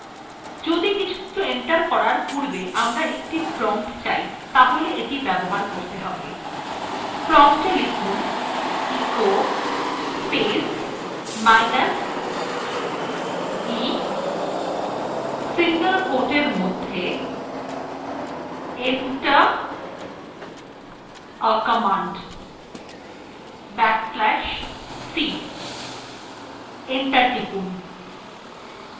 যদি কিছু এন্টার করার পূর্বে আমরা একটি prompt চাই তাহলে এটি ব্যবহার করতে হবে prompta লিখুনecho space minus e single quote এর মধ্যে enter a command back slash c এবং এন্টার টিপুন